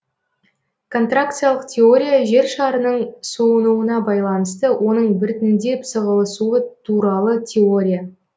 контракциялық теория жер шарының суынуына байланысты оның біртіндеп сығылысуы туралы теория